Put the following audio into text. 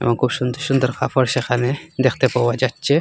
এবং খুব সুন্দর সুন্দর কাফড় সেখানে দেখতে পাওয়া যাচ্ছে।